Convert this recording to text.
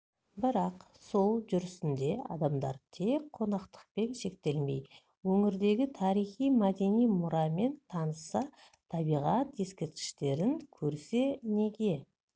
бірақ сол жүрісінде адамдар тек қонақтықпен шектелмей өңірдегі тарихи-мәдени мұрамен танысса табиғат ескерткіштерін көрсе неге